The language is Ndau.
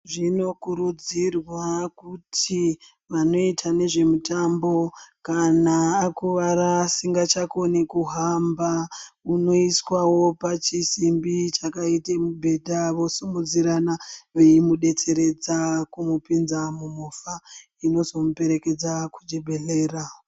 Zvino kurudzirwa kuti vanoita nezve mutambo kana akuvara asingachakoni kuhamba unoiswawo pa chisimbi chakaite mubhedha vo simudzirana veimu detseredza kumu pinza mu movha inozomu perekedza ku chibhedhlera.